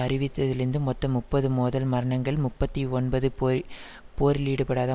அறிவித்ததிலிந்து மொத்தம் முப்பது மோதல் மரணங்கள் முப்பத்தி ஒன்பது போஇ போரிலீடுபடாத